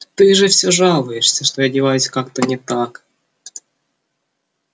ты же все жалуешься что я одеваюсь как-то не так